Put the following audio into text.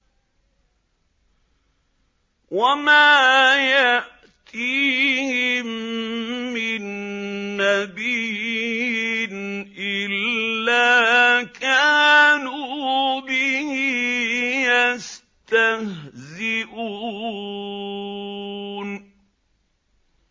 وَمَا يَأْتِيهِم مِّن نَّبِيٍّ إِلَّا كَانُوا بِهِ يَسْتَهْزِئُونَ